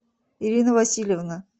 ирина васильевна